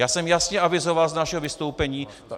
Já jsem jasně avizoval z našeho vystoupení.